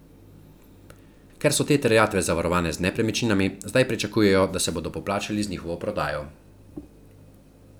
Ker so te terjatve zavarovane z nepremičninami, zdaj pričakujejo, da se bodo poplačali z njihovo prodajo.